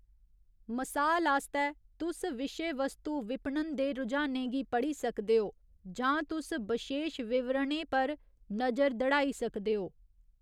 मसाल आस्तै, तुस विशेवस्तु विपणन दे रुझानें गी पढ़ी सकदे ओ, जां तुस बशेश विवरणें पर नजर दड़ाई सकदे ओ।